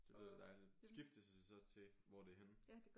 Det lyder dejligt skiftes I så til hvor det er henne?